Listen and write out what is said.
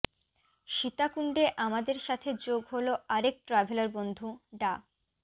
সীতাকুণ্ডে আমাদের সাথে যোগ হলো আরেক ট্রাভেলার বন্ধু ডা